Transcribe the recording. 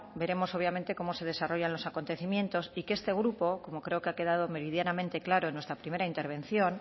veremos obviamente cómo se desarrollan los acontecimientos y que este grupo como creo que ha quedado meridianamente claro en nuestra primera intervención